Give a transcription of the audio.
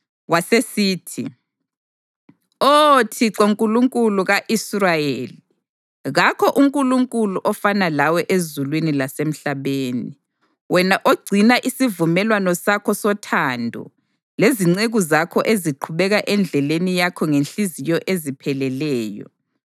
Wasesithi: “Oh Thixo Nkulunkulu ka-Israyeli, kakho uNkulunkulu ofanana lawe ezulwini lasemhlabeni, wena ogcina isivumelwano sakho sothando lezinceku zakho eziqhubeka endleleni yakho ngezinhliziyo ezipheleleyo.